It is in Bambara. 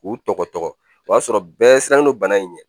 K'u tɔgɔ tɔgɔ o y'a sɔrɔ bɛɛ sirannen no bana in ɲɛ.